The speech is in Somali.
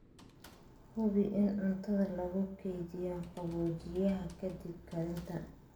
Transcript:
Hubi in cuntada lagu keydiyo qaboojiyaha ka dib karinta.